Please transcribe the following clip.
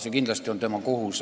See on kindlasti tema kohus.